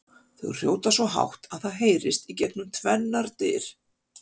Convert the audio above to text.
Þau hrjóta svo hátt að það heyrist gegnum tvennar dyr!